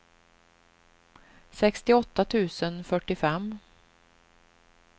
sextioåtta tusen fyrtiofem